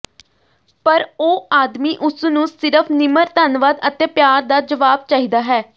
ਪਰ ਉਹ ਆਦਮੀ ਉਸ ਨੂੰ ਸਿਰਫ਼ ਨਿਮਰ ਧੰਨਵਾਦ ਅਤੇ ਪਿਆਰ ਦਾ ਜਵਾਬ ਚਾਹੀਦਾ ਹੈ